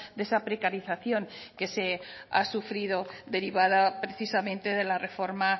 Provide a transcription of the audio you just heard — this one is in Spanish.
de esa precarización que se ha sufrido derivada precisamente de la reforma